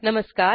नमस्कार